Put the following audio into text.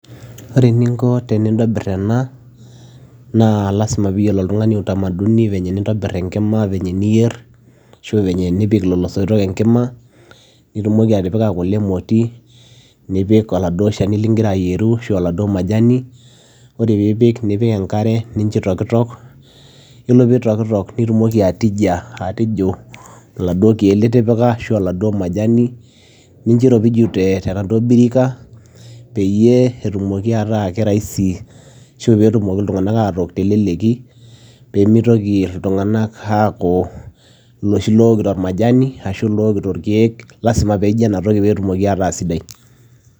Ore eninko tenintobirr ena naa lasima piiyiolo oltung'ani utamaduni venye nintobirr enkima venye niyierr ashu venye nipik lelo soitok enkima nitumoki atipika kule emoti nipik oladuo shani ligira ayieru ashu oladuo majani ore piipik nipik enkare nincho itokitok, yiolo pee itokitok nitumoki atijia atijiu iladuo keek litipika ashu aa oladuo majani nincho iropiju tenaduo birika peyie etumoki ataa kerahisi ashu pee etumoki iltung'anak atook teleleki pee mitoki iltung'anak aaku iloshi lookito ormajani ashu lookito irkeek lasima piiji ena toki pee etumoki ataa sidai.